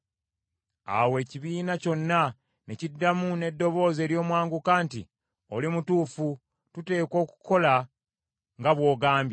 Awo ekibiina kyonna ne kiddamu n’eddoboozi ery’omwanguka nti, “Oli mutuufu, tuteekwa okukola nga bw’ogambye.